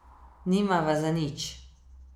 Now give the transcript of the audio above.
Nimava za nič.